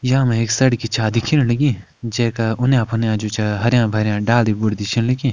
या मे एक सडकी छा दिखेण लगी जैका उन्या फुन्या जु छ हर्या भर्या डाली भुरदी छन लगीं।